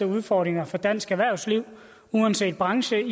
udfordringer for dansk erhvervsliv uanset branche